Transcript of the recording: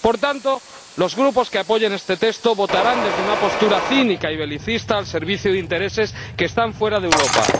Por tanto, los grupos que apoyen este texto votarán desde una postura cínica y belicista al servicio de intereses que están fuera de Europa.